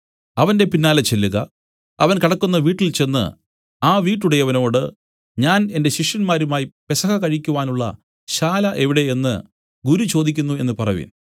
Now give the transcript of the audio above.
അവന്റെ പിന്നാലെ ചെല്ലുക അവൻ കടക്കുന്ന വീട്ടിൽചെന്ന് ആ വിട്ടുടയവനോടു ഞാൻ എന്റെ ശിഷ്യന്മാരുമായി പെസഹ കഴിക്കുവാനുള്ള ശാല എവിടെ എന്നു ഗുരു ചോദിക്കുന്നു എന്നു പറവിൻ